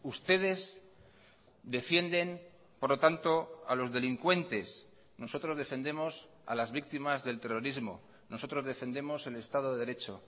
ustedes defienden por lo tanto a los delincuentes nosotros defendemos a las víctimas del terrorismo nosotros defendemos el estado de derecho